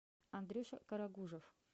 андрюша карагужев